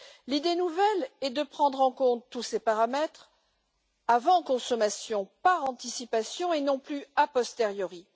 L'idée nouvelle est de prendre en compte tous ces paramètres avant consommation, par anticipation, et non plus a posteriori.